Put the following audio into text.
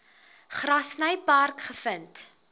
grassy park gevind